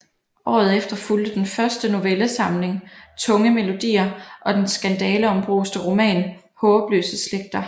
Året efter fulgte den første novellesamling Tunge melodier og den skandaleombruste roman Haabløse Slægter